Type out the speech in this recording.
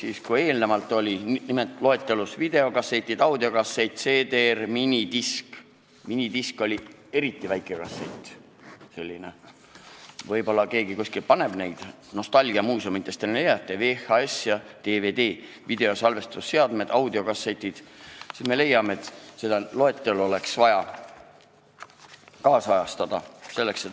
Ehk kui enne oli kirjas videokassett, audiokassett, CD-R, minidisk – see oli selline eriti väike kassett, võib-olla keegi kuskil veel kasutab neid, nostalgiamuuseumist on ju hea võtta –, VHS, DVD, videosalvestusseade, audiokassett, siis me leiame, et seda loetelu oleks vaja ajakohastada.